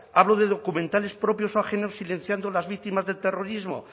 hablo de documentales propios o ajenos silenciando las víctimas del terrorismo